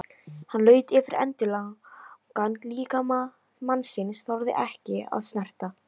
Hann laut yfir endilangan líkama mannsins, þorði ekki að snerta.